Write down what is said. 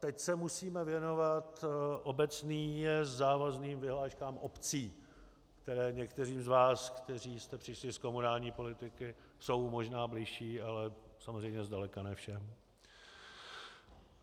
Teď se musíme věnovat obecně závazným vyhláškám obcí, které některým z vás, kteří jste přišli z komunální politiky, jsou možná bližší, ale samozřejmě zdaleka ne všem.